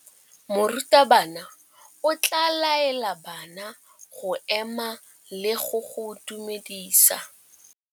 Morutabana o tla laela bana go ema le go go dumedisa.